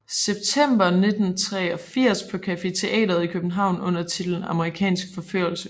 September 1983 på Café Teatret i København under titlen Amerikansk Forførelse